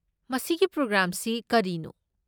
ꯃꯁꯤꯒꯤ ꯄ꯭ꯔꯣꯒ꯭ꯔꯥꯝꯁꯤ ꯀꯔꯤꯅꯣ?